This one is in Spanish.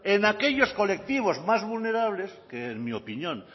en aquellos colectivos más vulnerables que en mi opinión